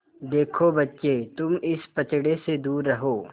देखो बच्चे तुम इस पचड़े से दूर रहो